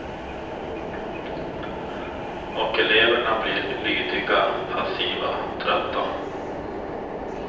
Och eleverna blir lydiga, passiva, trötta.